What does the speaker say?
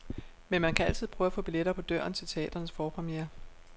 Men man kan altid prøve at få billetter på døren til teatrenes forpremierer.